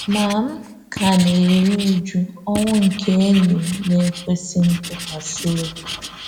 Ma m ka ka na-eru újú ọnwụ nke enyi m na-ekwèsí ntụkwasí obi.